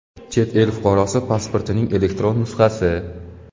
chet el fuqarosi pasportining elektron nusxasi;.